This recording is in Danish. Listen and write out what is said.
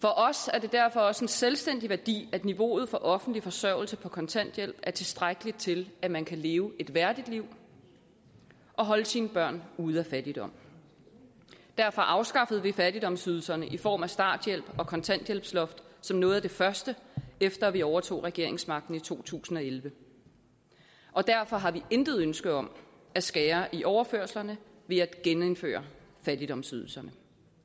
er det derfor også en selvstændig værdi at niveauet for offentlig forsørgelse på kontanthjælp er tilstrækkeligt til at man kan leve et værdigt liv og holde sine børn ude af fattigdom derfor afskaffede vi fattigdomsydelserne i form af starthjælp og kontanthjælpsloft som noget af det første efter at vi overtog regeringsmagten i to tusind og elleve og derfor har vi intet ønske om at skære i overførslerne ved at genindføre fattigdomsydelserne